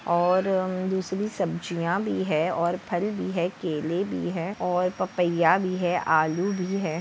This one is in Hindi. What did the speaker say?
और म दुसरी सब्जीया भी है और फल भी है केले भी है और पपया भी है आलू भी है।